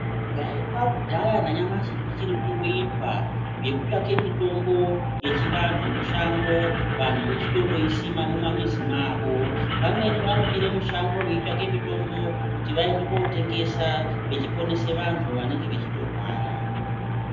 Zvaiitwa ku dhaya na nyamashi zvichiri kungo itwa zveku tsvake mitombo yechi antu mushango vantu va chitondo isima muma muzi mawo vamweni vanobira mushango vei tsvake mitombo kuti vaende ko tengesa vechi ponesa vantu vanenge vechito rwara.